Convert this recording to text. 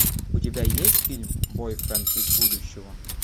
у тебя есть фильм бойфренд из будущего